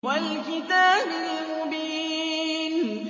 وَالْكِتَابِ الْمُبِينِ